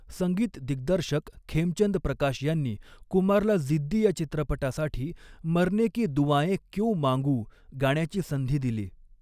संगीतदिग्दर्शक खेमचंद प्रकाश यांनी कुमारला 'जिद्दी' या चित्रपटासाठी 'मरनेकी दुआएँ क्यों मांगू' गाण्याची संधी दिली.